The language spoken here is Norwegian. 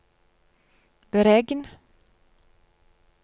beregn